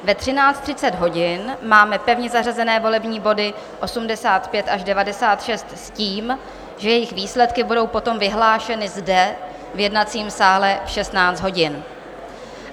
Ve 13.30 hodin máme pevně zařazené volební body 85 až 96 s tím, že jejich výsledky budou potom vyhlášeny zde v jednacím sále v 16 hodin.